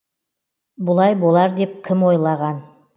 бұлай болар деп кім ойлаған